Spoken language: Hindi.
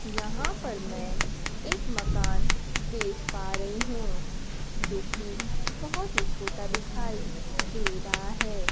यहां पर मैं एक मकान देख पा रही हूं जोकि बहोत ही छोटा दिखाई दे रहा है।